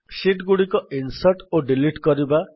sheet ଗୁଡିକ insert ଓ delete କରିବା